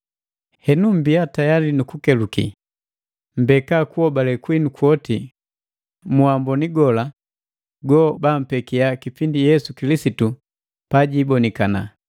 Henu, mmbiya tayali nu kukeluki. Mmbeka kuhobale kwinu kwoti mu wamboni gola gobampekiya kipindi Yesu Kilisitu pajibonikana!